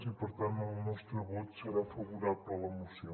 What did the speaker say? i per tant el nostre vot serà favorable a la moció